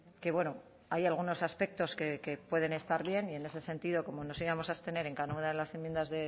que bueno hay algunos aspectos que pueden estar bien y en ese sentido como nos íbamos a abstener en cada una de las enmiendas